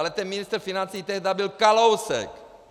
Ale ten ministr financí tehdy byl Kalousek.